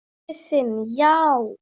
Hann pabbi þinn, já.